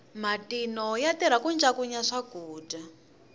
matino ya tirha ku ncakunya swakudya